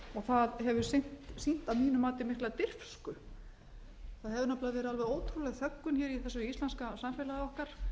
það hefur sýnt að mínu mati mikla dirfsku það hefur nefnilega verið alveg ótrúleg þöggun hér í þessu íslenska samfélagi okkar